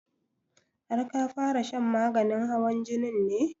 Har ka fara shan maganin hawan jinin ne?